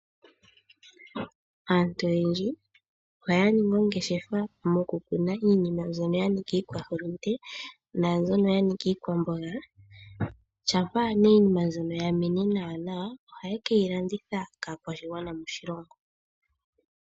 Aantu oyendji oha yaningi oongeshefa mokukuna iimeno mbyono yanika iikwa hulunde nambyono yanika iikwambonga shapa iinima mbyono yamene nawa nawa oha ye keyilanditha kakwashingwana moshilongo.